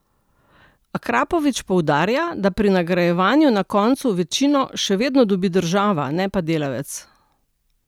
Akrapovič poudarja, da pri nagrajevanju na koncu večino še vedno dobi država, ne pa delavec.